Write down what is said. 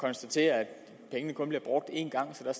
konstatere at pengene kun bliver brugt én gang så der